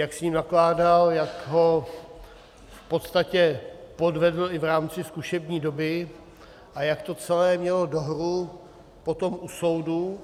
Jak s ním nakládal, jak ho v podstatě podvedl i v rámci zkušební doby a jak to celé mělo dohru potom u soudu.